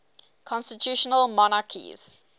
constitutional monarchies